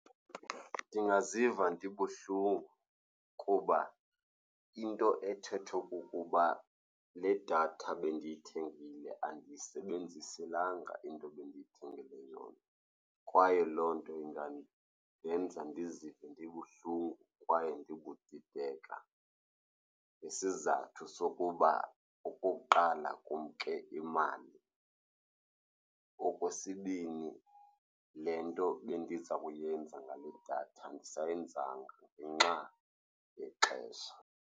Ndingaziva ndibuhlungu kuba into ethethwa kukuba le datha bendiyithengile andiyisebenziselanga into ebendiyithengele yona kwaye loo nto ingandenza ndizive ndibuhlungu kwaye ndibudideka. Isizathu sokuba, okokuqala, kumke imali. Okwesibini, le nto bendiza kuyenza ngale datha andisayenzanga ngenxa yexesha.